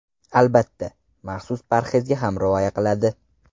Albatta, maxsus parhezga ham rioya qiladi.